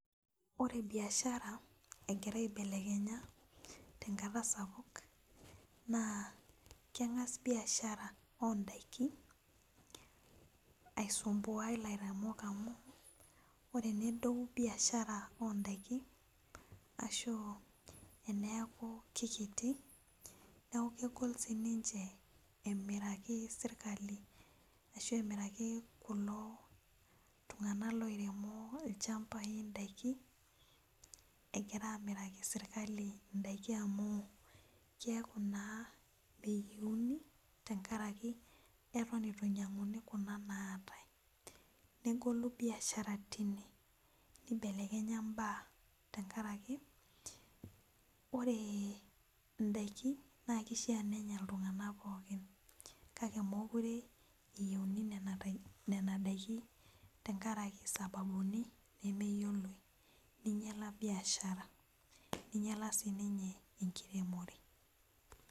Ore biashara egira aibelekenya tenkata sapuk na keng'as biashara ondakin aisumbua lainyang'ak amu ore pedou biashara ondakin ashu eneaku kekiti neaku kegol sinche emiraki sirkali ashu emiraki kulo tung'anak loiremo ilchambai ndakin egira amiraki serkali ndakin amuu keaku naa meyieuni tenkaraki atan itu nyang'uni kuna naatae negolu biashara tine nibelekenya mbaa tenkaraki ore ndakin na kishaa oenya ltung'anak pookin kake mekure eyieuni nona dakini tenkaraki sababuni nemeyioloi ninyala biashara ninyala sinye enkiremore.